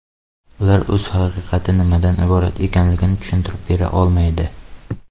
Ular o‘z haqiqati nimadan iborat ekanligini tushuntirib bera olmaydi.